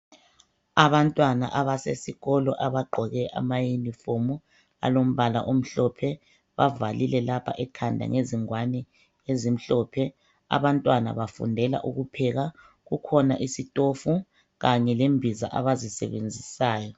Abantwana abesesikolo abagqoke amayunifomu alombala omhlophe, bavalile lapha ekhanda ngezingwane ezimhlophe. Abantwana bafundela ukupheka, kukhona isitofu kanye lembiza abazisebenzisayo.